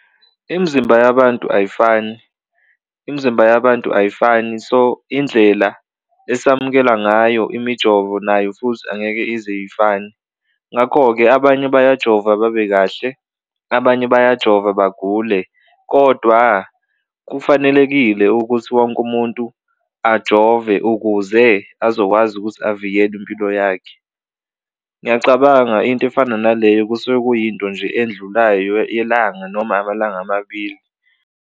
Imzimba yabantu ayifani imzimba yabantu ayifani so indlela esamukela ngayo imijovo nayo futhi angeke ize ifane ngakho-ke abanye bayajova babe kahle, abanye bayajova bagule kodwa kufanelekile ukuthi wonke umuntu ajove ukuze azokwazi ukuthi avikele impilo yakhe. Ngiyacabanga into efana naleyo kusuke kuyinto nje endlulayo yelanga noma amalanga amabili.